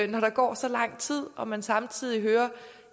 når der går så lang tid og man samtidig hører at